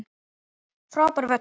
Frábær völlur.